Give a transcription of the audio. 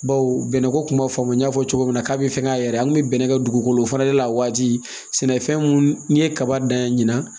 Baw bɛnɛ ko kuma faamu n y'a fɔ cogo min na ka be fɛ ka yɛrɛ an kun be bɛnɛ kɛ dugukolo fana de la a waati sɛnɛfɛn mun n'i ye kaba dan ye ɲina